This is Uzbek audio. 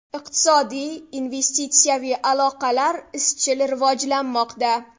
Iqtisodiy, investitsiyaviy aloqalar izchil rivojlanmoqda.